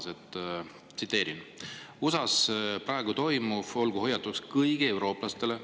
"USAs praegu toimuv olgu hoiatuseks kõigile eurooplastele.